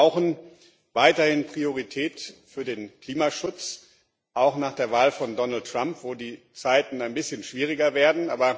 Wir brauchen weiterhin Priorität für den Klimaschutz, auch nach der Wahl von Donald Trump, wo die Zeiten ein bisschen schwieriger werden.